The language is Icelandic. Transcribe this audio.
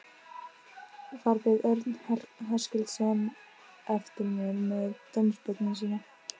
Þar beið Örn Höskuldsson eftir mér með dómsbókina sína.